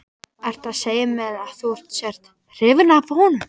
Ertu að segja mér að þú sért. hrifin af honum?